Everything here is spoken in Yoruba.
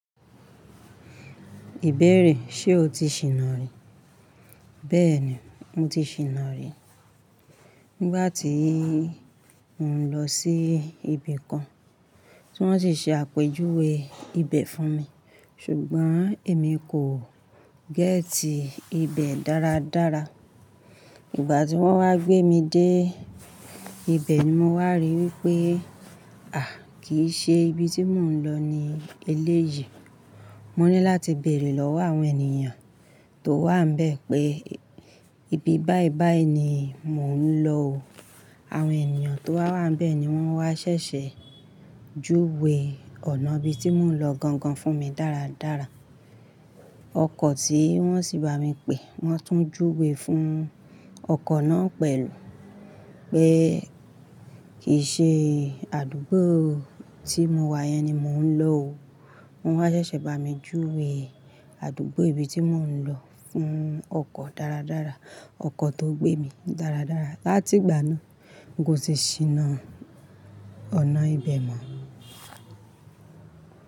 Ìbéèrè, ṣe o ti ṣìná rí? Bẹ́ẹ̀ni, mo ti ṣìná rí. Nígbà tí í mo ń lọ sí ibi kan, tí wọ́n sì ṣe àpèjúwe ibẹ̀ fún mi. Ṣùgbọ́n èmi kò géétì ibẹ̀ dáradára. Ìgbà tí wọ́n wá gbé mi dé ibẹ̀ ni mo wá rí wípé, àì, kì í ṣe ibi tí mò ń lọ ní eléyìí. Mo ní láti bèèrè lọ́wọ́ àwọn ènìyàn tó wà n bẹ́ẹ̀ pé, ibi báìbái ni mò ń lọ o. Àwọn ènìyàn tó wà wá nbẹ́ẹ̀ ni wọ́n wá ṣẹ̀ṣẹ̀ júwe ọ̀nà ibi tí mò ń lọ gangan fún mi dáradára. Tí wọ́n sì bá mi pè, wọ́n tún júwe fún ọkọ̀ náà pẹ̀lú pé kì í ṣe àdúgbò tí mo wá yẹn ni mò ń lọ o. Wọ́n wá ṣẹ̀ṣẹ̀ bá mi júwe àdúgbò ibi tí mò ń lọ fún ọkọ̀ dáradára, ọkọ̀ tó gbé mi dáradára. Látìgbà náà, n kò ti ṣíná ọ̀nà ibẹ̀ mọ́.